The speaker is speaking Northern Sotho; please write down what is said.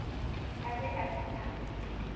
a be a se a